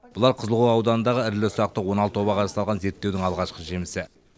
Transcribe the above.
бұлар қызылқоға ауданындағы ірілі ұсақты он алты обаға жасалған зерттеудің алғашқы жемісі